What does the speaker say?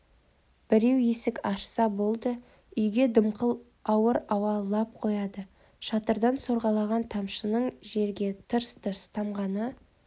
біреу есік ашса болды үйге дымқыл ауыр ауа лап қояды шатырдан сорғалаған тамшының жерге тырс-тырс тамғаны